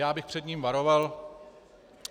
Já bych před ním varoval.